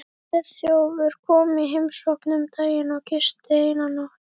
Friðþjófur kom í heimsókn um daginn og gisti eina nótt.